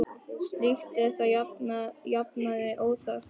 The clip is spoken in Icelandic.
Slíkt er að jafnaði óþarft.